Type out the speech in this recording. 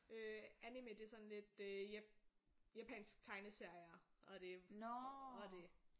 Øh anime det er sådan lidt øh ja japansk tegneserier og det og det